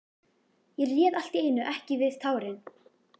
Ég réð allt í einu ekki við tárin.